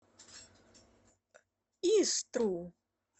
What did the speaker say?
истру